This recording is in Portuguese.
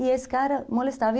E esse cara molestava.